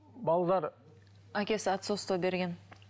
балалар әкесі отцовство берген